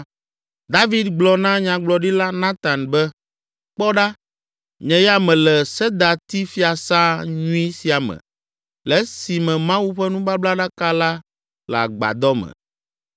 David gblɔ na Nyagblɔɖila Natan be, “Kpɔ ɖa! Nye ya mele sedatifiasã nyui sia me le esime Mawu ƒe nubablaɖaka la le agbadɔ me.”